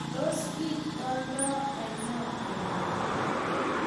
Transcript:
tos kiit oldo anonon koroi?